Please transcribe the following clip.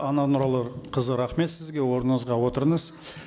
нұралықызы рахмет сізге орныңызға отырыңыз